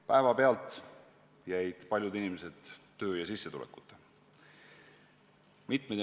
Päevapealt jäid paljud inimesed töö ja sissetulekuta.